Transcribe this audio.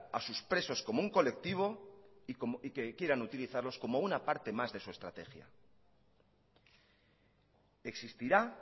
a sus presos como un colectivo y que quieran utilizarlos como una parte más de su estrategia existirá